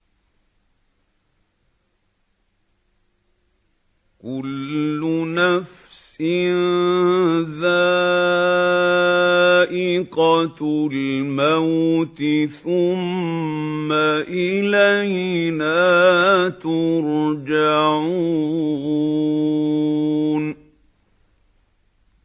كُلُّ نَفْسٍ ذَائِقَةُ الْمَوْتِ ۖ ثُمَّ إِلَيْنَا تُرْجَعُونَ